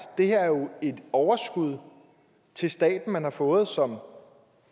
det her er jo et overskud til staten som man har fået som